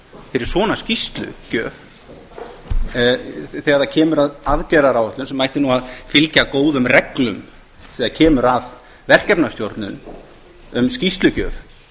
fyrir svona skýrslugjöf þegar kemur að aðgerðaáætlun sem ætti að fylgja góðum reglum þegar kemur að verkefnisstjórn um skýrslugjöf